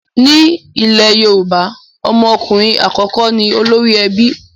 Ní ilẹ̀ Yorùbá, ọmọ okunrin àkọ́kọ́ ni olórí ebi